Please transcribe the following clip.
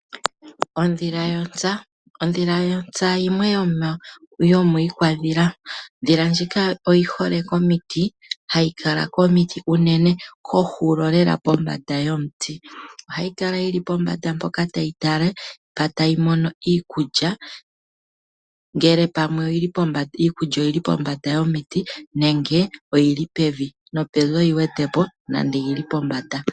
Odhila yontsa. Odhila yontsa yimwe yomiikadhila. Ndjika oyi hole komiiti kohulo lela kombanda yomuti. Ohayi kala yili pombanda mpoka tayi tala mpoka tayi mono iikulya. Ngele pamwe iikulya oyili pombanda yomiiti nenge oyili pevi. Nopevi oyi wete po nande oyili pombanda.